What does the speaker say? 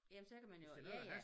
Jamen så kan man jo ja ja